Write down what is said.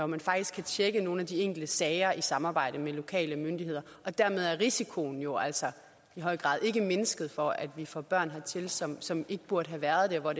man faktisk kan tjekke nogle af de enkelte sager i samarbejde med lokale myndigheder og dermed er risikoen jo altså i høj grad ikke mindsket for at vi får børn hertil som som ikke burde have været her og